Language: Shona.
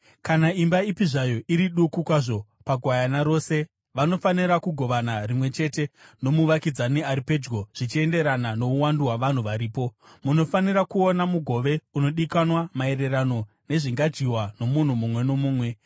Kana imba ipi zvayo iri duku kwazvo pagwayana rose, vanofanira kugovana rimwe chete nomuvakidzani ari pedyo zvichienderana nouwandu hwavanhu varipo. Munofanira kuona mugove unodikanwa maererano nezvingadyiwa nomunhu mumwe nomumwe.